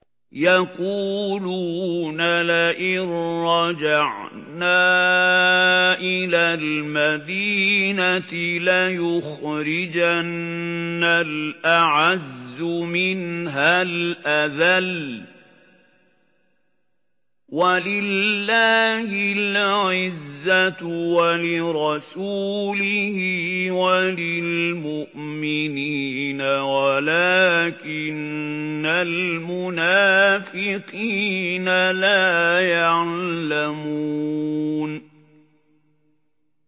يَقُولُونَ لَئِن رَّجَعْنَا إِلَى الْمَدِينَةِ لَيُخْرِجَنَّ الْأَعَزُّ مِنْهَا الْأَذَلَّ ۚ وَلِلَّهِ الْعِزَّةُ وَلِرَسُولِهِ وَلِلْمُؤْمِنِينَ وَلَٰكِنَّ الْمُنَافِقِينَ لَا يَعْلَمُونَ